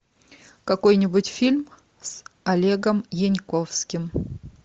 какой нибудь фильм с олегом янковским